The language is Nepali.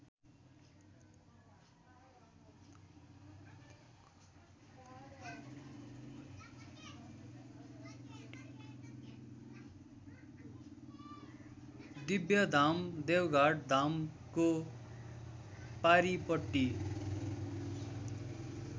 दिव्यधाम देवघाटधामको पारीपट्टि